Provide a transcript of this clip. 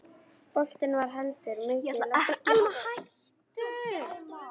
Boltinn var heldur mikið í loftinu og alls ekki mikið af færum.